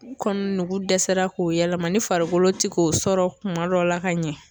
Kɔni nugu dɛsɛra k'o yɛlɛma ni farikolo te k'o sɔrɔ kuma dɔ la ka ɲɛ